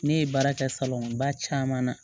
Ne ye baara kɛ salon ba caman na